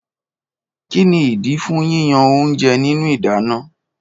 Kíni ìdí fún yíyan oúnjẹ nínú ìdáná?